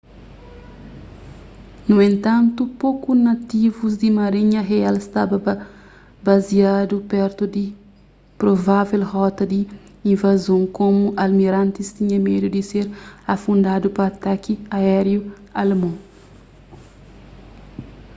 nu entantu poku nativus di marinha real staba baziadu pertu di provável rota di invazon komu almirantis tinha medu di ser afundadu pa ataki aériu alemon